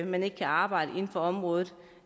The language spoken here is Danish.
man ikke kan arbejde inden for området